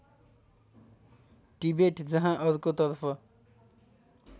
Tibet जहाँ अर्को तर्फ